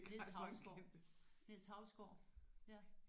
Niels Hausgaard Niels Hausgaard ja